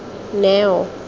neo